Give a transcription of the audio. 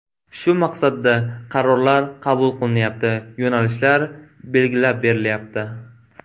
Shu maqsadda qarorlar qabul qilinyapti, yo‘nalishlar belgilab berilyapti.